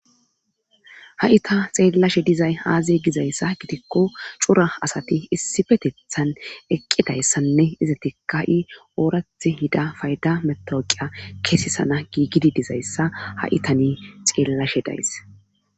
Hai ta xeellashe dizay aazee gizayssa gitikko cora asati issipetettan eqqidayssanne izatikka ooraththi yiida fayda metawoqiya kesesana giigidi dizayssa ha'i tani xeellashe days